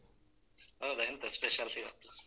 ಹೌದಾ ಎಂತ special ಇವತ್ತು?